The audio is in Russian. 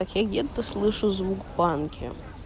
это слышу звук в банке